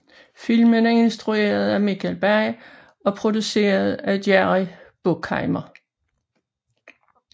Filmen er instrueret af Michael Bay og produceret af Jerry Bruckheimer